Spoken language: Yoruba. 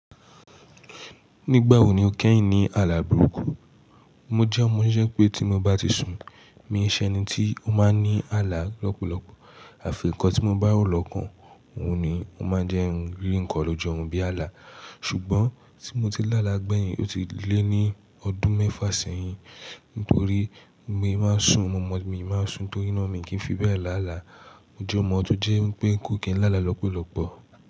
Nígbà wo ni o kẹ́hìn ní àlà bòrukù? Mo jẹ́ omo to jẹ pé tí mo bá ti sùn, mi ṣẹni tí ó máa ń ní àlà lọ́pọ̀lọpọ̀. Àfi ǹkan tí mo bá ro lọ́ kan, òun ni ó máa ń jẹ́ ǹ ri ǹkan ló ju orun bí àlà. Ṣùgbọ́n tí mo ti láàlá gbẹ̀yìn, ó ti lé ní ọdún mẹ́fà sẹ́yìn. Nítorí, mi máa ń sùn, mí máa ń sùn torí ná mi kì í fi bẹ́ẹ̀ làálàá. Mo jẹ́ omo tó jẹ́ pé n kò kì í lálà lọ́pọ̀lọpọ̀.